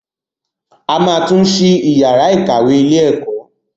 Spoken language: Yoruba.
A ma tún ṣí yàrá ìkàwé ilé ẹ̀kọ́.